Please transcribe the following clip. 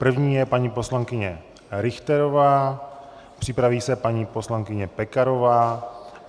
První je paní poslankyně Richterová, připraví se paní poslankyně Pekarová.